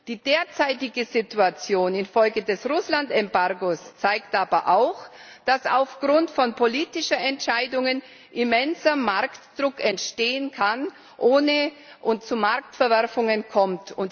Die derzeitige Situation infolge des Russland Embargos zeigt aber auch, dass aufgrund von politischen Entscheidungen immenser Marktdruck entstehen kann und es zu Marktverwerfungen kommt.